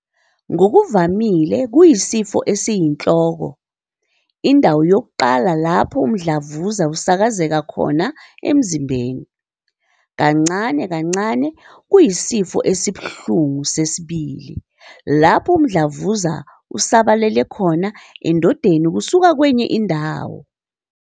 Ngokuvamile kuyisifo esiyinhloko, indawo yokuqala lapho umdlavuza usakazeka khona emzimbeni. Kancane kancane kuyisifo esibuhlungu sesibili, lapho umdlavuza usabalalele khona endondeni kusuka kwenye indawo.